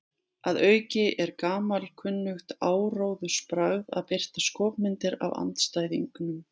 Að auki er gamalkunnugt áróðursbragð að birta skopmyndir af andstæðingnum.